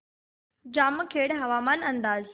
जामखेड हवामान अंदाज